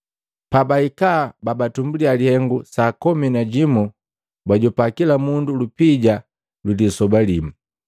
Pabahika babatumbuliya lihengu saa komi na jimu, bajopa kila mundu lupija lwilisoba limu.